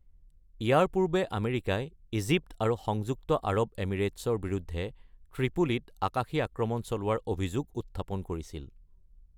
ইয়াৰ পূৰ্বে আমেৰিকাই ইজিপ্ত আৰু সংযুক্ত আৰব এমিৰেট্চৰ বিৰুদ্ধে ত্ৰিপোলীত আকাশী আক্ৰমণ চলোৱাৰ অভিযোগ উত্থাপন কৰিছিল।